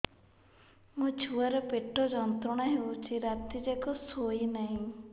ମୋ ଛୁଆର ପେଟ ଯନ୍ତ୍ରଣା ହେଉଛି ରାତି ଯାକ ଶୋଇନାହିଁ